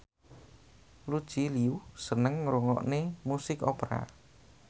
Lucy Liu seneng ngrungokne musik opera